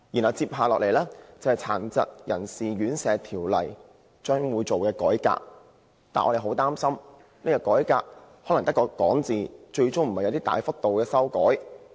其後，大家得悉《殘疾人士院舍條例》會改革，但我們擔心改革會流於空談，最終不會有大幅修訂。